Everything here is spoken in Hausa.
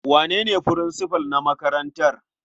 Wane ne furinsifal na makarantar?